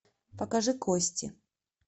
покажи кости